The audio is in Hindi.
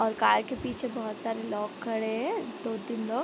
और कार के पीछे बहुत सारे लोग खड़े हैं दो तीन लोग |